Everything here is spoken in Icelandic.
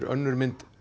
önnur mynd